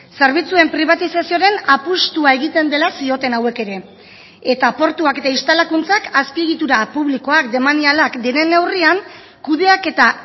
zerbitzuen pribatizazioaren apustua egiten dela zioten hauek ere eta portuak eta instalakuntzak azpiegitura publikoak demanialak diren neurrian kudeaketa